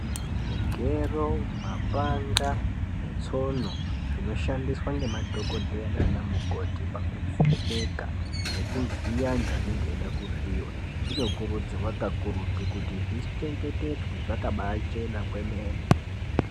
Zvigero, mapanga netsono, zvinoshandiswa ngemadhokodheya nanamukoti pakuvheneka nekuvhiya antu anenge eyida kuvhiyiwa, kunokurudzirwa kakurutu kuti zvichengetedze zvakabachena kwemene.